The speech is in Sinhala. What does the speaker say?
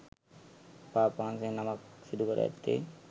පාප් වහන්සේ නමක් සිදුකොට ඇත්තේ